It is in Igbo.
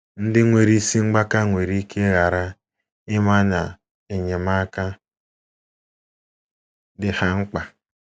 Ndị nwere isi mgbaka nwere ike ghara ịma na enyemaka dị ha mkpa.